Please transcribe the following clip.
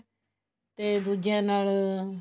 ਤੇ ਦੂਜਿਆਂ ਨਾਲ